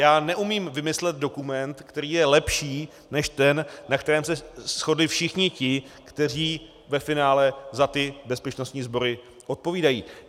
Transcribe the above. Já neumím vymyslet dokument, který je lepší než ten, na kterém se shodli všichni ti, kteří ve finále za ty bezpečnostní sbory odpovídají.